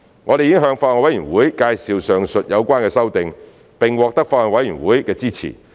我們已向法案委員會介紹上述有關的修訂，並獲得法案委員會的支持。